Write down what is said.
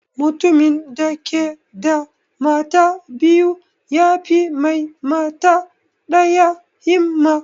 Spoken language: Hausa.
Mutumin da ke da mata biyu yafi mai mata ɗaya himma